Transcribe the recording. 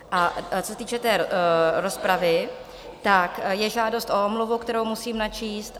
A co se týče té rozpravy, tak je žádost o omluvu, kterou musím načíst.